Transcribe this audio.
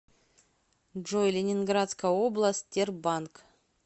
джой ленинградская область тербанк